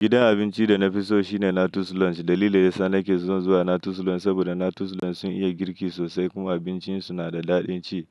Gidan abinci da na fi so shine Natus Lounge. Dalili yasa nake son zuwa Natus Lounge saboda Natus Lounge sun iya girki sosai kuma abincin su na da daɗin ci.